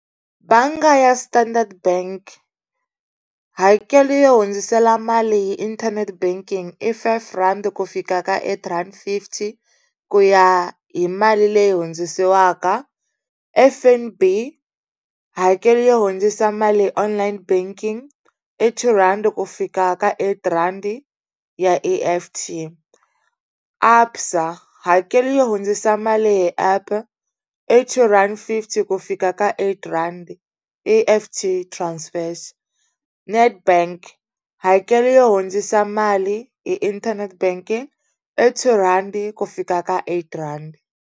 Bangi ya Standard Bank hakelo yo hundzisela mali hi inthanete banking i five rand ku fika ka eight rand fifty ku ya hi mali leyi hundzisiwaka F_N_B hakelo yo hundzisa mali online banking i two rand ku fika ka eight rand ya E_F_T, ABSA hakelo yo hundzisa mali hi app i two rand fifty ku fika ka eight rand E_F_T transfers Netbank hakelo yo hundzisa mali hi internet banking i two rand ku fika ka eight rand.